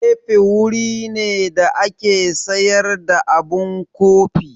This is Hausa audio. Kafe wuri ne da ake sayar da abun kofi.